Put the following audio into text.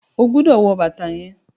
o gbódò wọ bàtá yén!